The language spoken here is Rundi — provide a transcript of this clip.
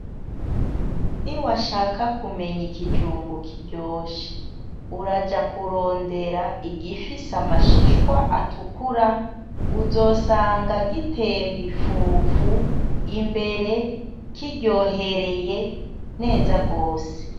Niwashaka kumenya ikijumbu kiryoshe uraja kurondera igifise amashishwa atukura uzosanga gitemba ifufu imbere kiryohereye neza gose.